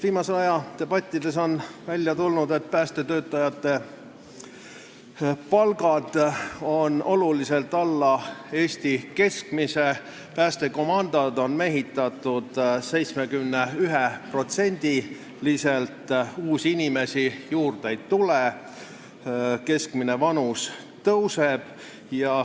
Viimase aja debattidest on välja tulnud, et päästetöötajate palgad on oluliselt alla Eesti keskmise, päästekomandod on mehitatud 71%-liselt, uusi inimesi juurde ei tule ja töötajate keskmine vanus tõuseb.